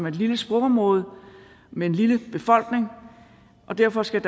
et lille sprogområde med en lille befolkning og derfor skal